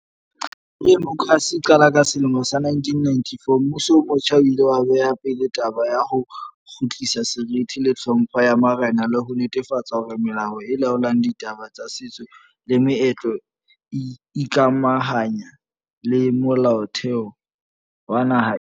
Ha demokrasi e qala ka sele mo sa 1994, mmuso o motjha o ile wa beha pele taba ya ho kgutlisa seriti le tlhompho ya marena le ho netefatsa hore melao e laolang ditaba tsa setso le meetlo e ikamahanya le Molaotheo wa naha ena.